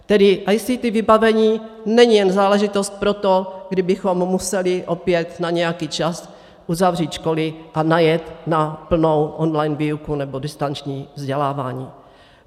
Tedy ICT vybavení není jen záležitost pro to, kdybychom museli opět na nějaký čas uzavřít školy a najet na plnou online výuku nebo distanční vzdělávání.